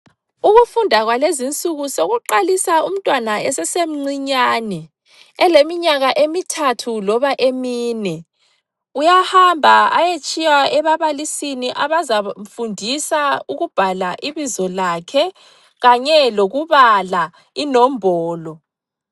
Ukufunda kwalezi insuku sokuqalisa umntwana esesemncinyane eleminyaka emithathu loba emine. Uyahamba ayetshiywa ebabalisini abazamfundisa ukubhala ibizo lakhe kanye lokubala inombolo.